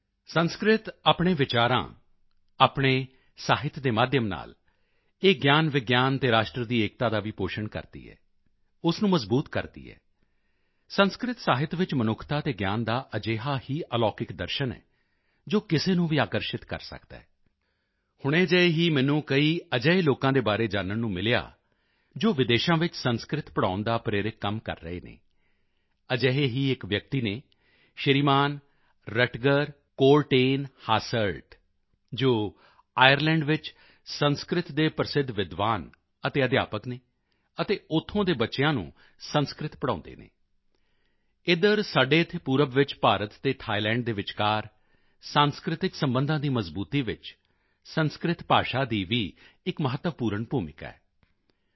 ਸੰਸਕ੍ਰਿਤ ਆਪਣੇ ਵਿਚਾਰਾਂ ਆਪਣੇ ਸਾਹਿਤ ਦੇ ਮਾਧਿਅਮ ਨਾਲ ਇਹ ਗਿਆਨਵਿਗਿਆਨ ਅਤੇ ਰਾਸ਼ਟਰ ਦੀ ਏਕਤਾ ਦਾ ਵੀ ਪੋਸ਼ਣ ਕਰਦੀ ਹੈ ਉਸ ਨੂੰ ਮਜ਼ਬੂਤ ਕਰਦੀ ਹੈ ਸੰਸਕ੍ਰਿਤ ਸਾਹਿਤ ਵਿੱਚ ਮਨੁੱਖਤਾ ਅਤੇ ਗਿਆਨ ਦਾ ਅਜਿਹਾ ਹੀ ਅਲੌਕਿਕ ਦਰਸ਼ਨ ਹੈ ਜੋ ਕਿਸੇ ਨੂੰ ਵੀ ਆਕਰਸ਼ਿਤ ਕਰ ਸਕਦਾ ਹੈ ਹੁਣੇ ਜਿਹੇ ਹੀ ਮੈਨੂੰ ਕਈ ਅਜਿਹੇ ਲੋਕਾਂ ਦੇ ਬਾਰੇ ਜਾਨਣ ਨੂੰ ਮਿਲਿਆ ਜੋ ਵਿਦੇਸ਼ਾਂ ਵਿੱਚ ਸੰਸਕ੍ਰਿਤ ਪੜ੍ਹਾਉਣ ਦਾ ਪ੍ਰੇਰਕ ਕੰਮ ਕਰ ਰਹੇ ਹਨ ਅਜਿਹੇ ਹੀ ਇੱਕ ਵਿਅਕਤੀ ਹਨ ਸ਼੍ਰੀਮਾਨ ਰਟਗਰ ਕੋਰਟੇਨਹਾਸਰਟ ਜੋ ਆਇਰਲੈਂਡ ਵਿੱਚ ਸੰਸਕ੍ਰਿਤ ਦੇ ਪ੍ਰਸਿੱਧ ਵਿਦਵਾਨ ਅਤੇ ਅਧਿਆਪਕ ਹਨ ਅਤੇ ਉੱਥੋਂ ਦੇ ਬੱਚਿਆਂ ਨੂੰ ਸੰਸਕ੍ਰਿਤ ਪੜ੍ਹਾਉਂਦੇ ਹਨ ਇੱਧਰ ਸਾਡੇ ਇੱਥੇ ਪੂਰਬ ਵਿੱਚ ਭਾਰਤ ਅਤੇ ਥਾਈਲੈਂਡ ਦੇ ਵਿਚਕਾਰ ਸੰਸਕ੍ਰਿਤਿਕ ਸਬੰਧਾਂ ਦੀ ਮਜਬੂਤੀ ਵਿੱਚ ਸੰਸਕ੍ਰਿਤ ਭਾਸ਼ਾ ਦੀ ਵੀ ਇੱਕ ਮਹੱਤਵਪੂਰਨ ਭੂਮਿਕਾ ਹੈ ਡਾ